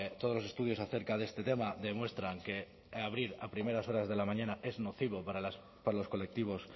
todos los estudios acerca de este tema demuestran que abrir a primeras horas de la mañana es nocivo para los colectivos